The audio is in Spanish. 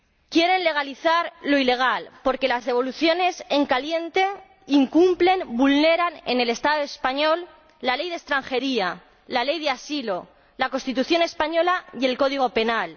Quieren legalizar lo ilegal, porque las devoluciones en caliente incumplen, vulneran, en el Estado español, la Ley de Extranjería, la Ley de Asilo, la Constitución española y el Código Penal.